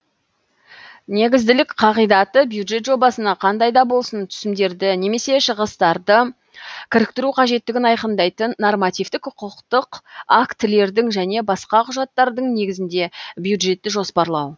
негізділік қағидаты бюджет жобасына кандай да болсын түсімдерді немесе шығыстарды кіріктіру қажеттігін айқындайтын нормативтік құқықтық актілердің және басқа құжаттардың негізінде бюджетті жоспарлау